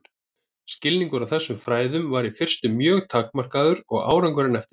Skilningur á þessum fræðum var í fyrstu mjög takmarkaður og árangurinn eftir því.